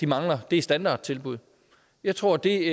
mangler er standardtilbud jeg tror at det